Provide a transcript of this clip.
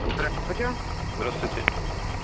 здравствуйте здравствуйте